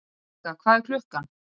Ragga, hvað er klukkan?